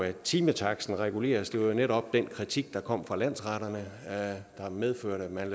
at timetaksten reguleres det var jo netop den kritik der kom fra landsretterne der har medført at man